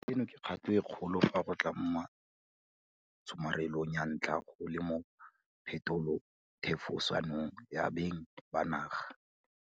Eno ke kgato e kgolo fa go tla mo tshomarelong ya tlha go le mo phetolothefosanong ya beng ba naga.